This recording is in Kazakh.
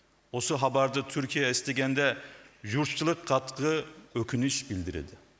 осы хабарды түркия естігенде жұртшылық қатты өкініш білдіреді